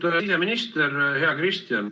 Härra siseminister, hea Kristian!